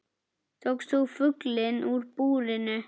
Tókst þú fuglinn úr búrinu?